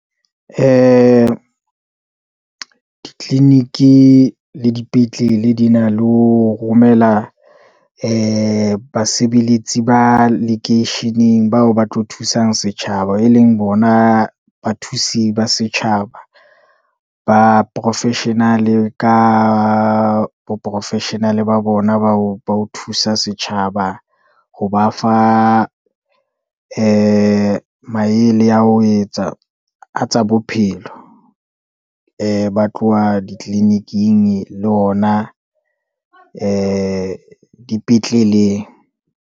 Ditliliniki le dipetlele di na le ho romela ee basebeletsi ba lekeisheneng, bao ba tlo thusang setjhaba, e leng bona bathusi ba setjhaba, ba professional, ka bo professional ba bona bao ba ho thusa setjhaba. Ho ba fa ee maele a ho etsa a tsa bophelo, ee ba tloha ditliliniking le ona ee dipetleleng.